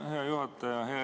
Aitäh, hea juhataja!